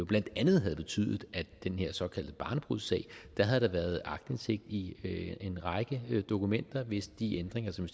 blandt andet havde betydet at der den her såkaldte barnebrudssag havde været aktindsigt i en række dokumenter altså hvis de ændringer som